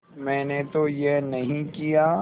मैंने तो यह नहीं किया